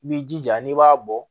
I b'i jija n'i b'a bɔ